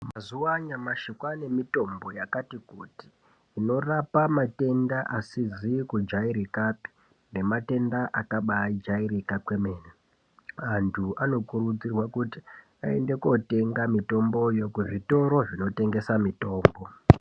Mazuwa anyamashi, kwaane mitombo, yakati kuti, inorapa matenda asizi kujaerekapi nematenda akabaajaereka kwemene. Anthu anokurudzirwa kuti aende kootenga mitombo kuzvitoro zvinotengesa mutombo.